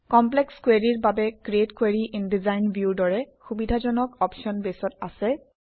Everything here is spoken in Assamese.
কমপ্লেক্স কুৱেৰিৰ বাবে create query in design View ৰ দৰে সুবিধাজনক অপশ্যন বেছত আছে